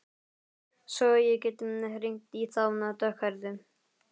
Svo ég geti hringt í þá dökkhærðu.